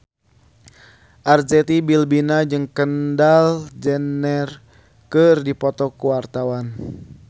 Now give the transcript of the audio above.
Arzetti Bilbina jeung Kendall Jenner keur dipoto ku wartawan